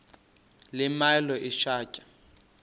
le milo ithatya